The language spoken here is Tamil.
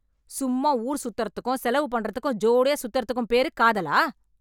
சும்மா ஊர் சுத்துறதுக்கும், செலவு பண்றதுக்கும் ஜோடியா சுத்துறதுக்கும் பேரு காதலா?